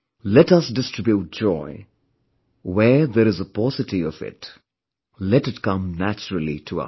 Let us distribute joy, where there is a paucity of it... let it come naturally to us